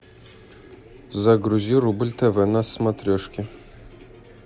загрузи рубль тв на смотрешке